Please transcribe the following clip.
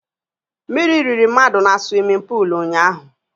Mmírí riri mmadụ na swimin pul ụnyaahụ